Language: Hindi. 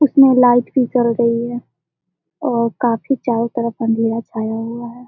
उसमें लाइट नहीं जल रही है और काफी चारों तरफ अंदर छाया हुए हैं। .